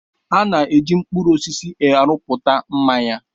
A na-eji mkpụrụ osisi arụpụta mmanya.